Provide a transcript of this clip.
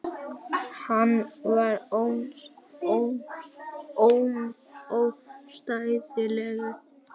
Hann var ómótstæðilegur.